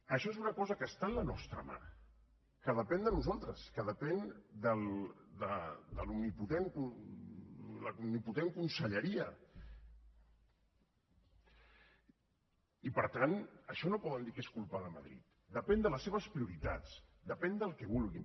això és una cosa que està en la nostra mà que depèn de nosaltres que depèn de l’omnipotent conselleria i per tant això no poden dir que és culpa de madrid depèn de les seves prioritats depèn del que vulguin